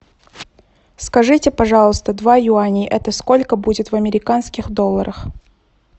скажите пожалуйста два юаня это сколько будет в американских долларах